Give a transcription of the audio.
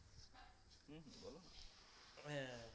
হ্যাঁ